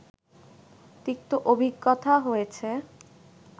তিক্ত অভিজ্ঞতা হয়েছে